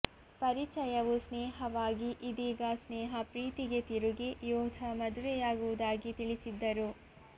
ಪರಿಚಯವು ಸ್ನೇಹವಾಗಿ ಇದೀಗ ಸ್ನೇಹ ಪ್ರೀತಿಗೆ ತಿರುಗಿ ಯೋಧ ಮದುವೆಯಾಗುವುದಾಗಿ ತಿಳಿಸಿದ್ದರು